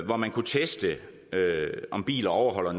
hvor man kunne teste om biler overholder